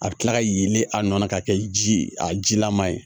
A bɛ kila ka yelen a nɔ na ka kɛ ji a jilaman ye